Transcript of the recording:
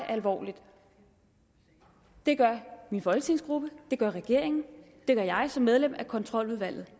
alvorligt det gør min folketingsgruppe det gør regeringen det gør jeg som medlem af kontroludvalget